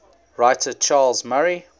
writer charles murray